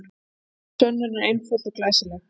Þessi sönnun er einföld og glæsileg.